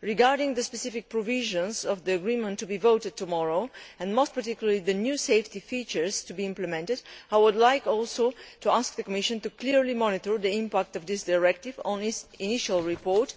Regarding the specific provisions of the agreement to be voted on tomorrow, and most particularly the new safety features to be implemented, I would like to ask the Commission to clearly monitor the impact of this directive. In its initial report,